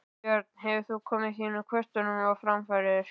Björn: Hefur þú komið þínum kvörtunum á framfæri?